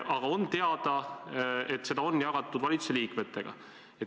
Aga on teada, et seda on jagatud valitsuse liikmetega.